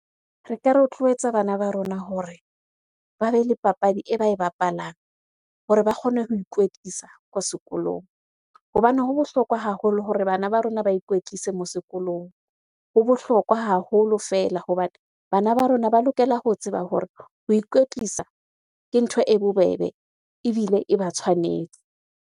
Re ka rotloetsa bana ba rona hore ba be le papadi e ba e bapalang hore ba kgone ho ikwetlisa ko sekolong. Hobane ho bohlokwa haholo hore bana ba rona ba ikwetlise moo sekolong. Ho bohlokwa haholo fela hobane bana ba rona ba lokela ho tseba hore ho ikwetlisa ke ntho e bobebe ebile e ba tshwanetse.